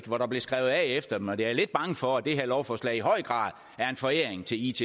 hvor der blev skrevet af efter dem og jeg er lidt bange for at det her lovforslag i høj grad er en foræring til itd